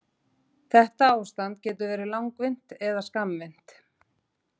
Þetta ástand getur verið langvinnt eða skammvinnt.